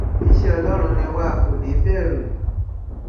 iṣẹ ọlọrun ni wà á kò ní í bẹrù